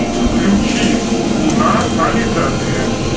включи луна ализадэ